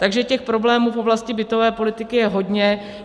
Takže těch problémů v oblasti bytové politiky je hodně.